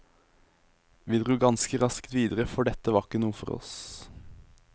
Vi dro ganske raskt videre for dette var ikke noe for oss.